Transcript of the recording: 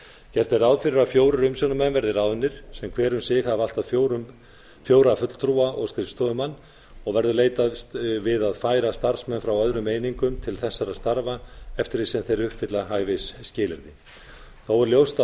gert er ráð fyrir að fjórir umsjónarmenn verði ráðnir sem hver um sig hafi allt að fjóra fulltrúa og skrifstofumann og verður leitast við að færa starfsmenn frá öðrum einingum til þessara starfa eftir því sem þeir uppfylla hæfisskilyrði þó er ljóst að